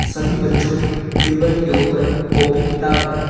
सभी बच्चों के टेबल के ऊपर कॉपी किताब है।